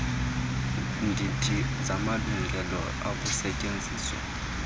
ndidi zamalungelo okusetyenziswa